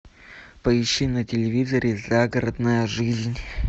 поищи на телевизоре загородная жизнь